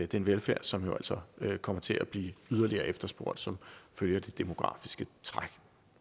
den velfærd som jo altså kommer til at blive yderligere efterspurgt som følge af de demografiske træk